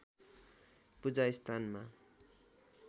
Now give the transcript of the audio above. पूजा स्थानमा